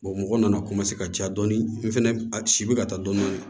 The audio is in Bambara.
mɔgɔ nana ka ca dɔɔni n fɛnɛ a si bɛ ka taa dɔɔnin dɔɔnin